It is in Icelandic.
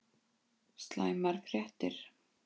SLÆMAR FRÉTTIR